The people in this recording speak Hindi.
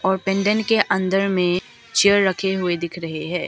और पेंडेंट के अंदर में चेयर रखे हुए दिख रहे हैं।